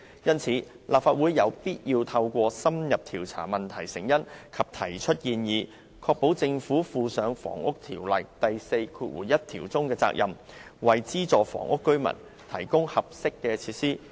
因此，立法會有必要透過深入調查問題成因及提出建議，確保政府履行《房屋條例》第41條中的責任，為資助房屋居民提供適合的設施。